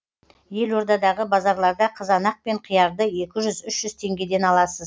елордадағы базарларда қызанақ пен қиярды екі жүз үш жүз теңгеден аласыз